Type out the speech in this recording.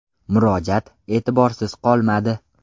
Murojaat e’tiborsiz qolmadi.